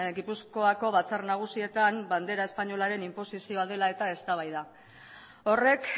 gipuzkoako batzar nagusietan bandera espainolaren inposizioa dela eta eztabaida horrek